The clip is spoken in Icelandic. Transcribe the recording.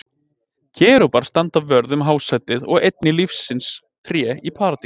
Kerúbar standa vörð um hásætið og einnig lífsins tré í Paradís.